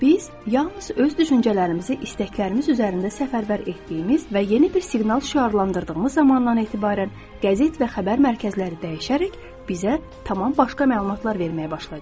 Biz yalnız öz düşüncələrimizi istəklərimiz üzərində səfərbər etdiyimiz və yeni bir siqnal şüarlandırdığımız zamandan etibarən qəzet və xəbər mərkəzləri dəyişərək bizə tamam başqa məlumatlar verməyə başlayacaqdır.